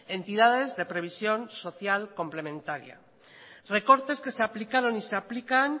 entidades de previsión social complementaria recortes que se aplicaron y se aplican